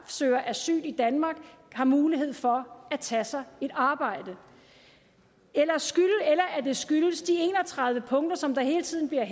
søger asyl i danmark har mulighed for at tage sig et arbejde eller at det skyldes de en og tredive punkter som der hele tiden bliver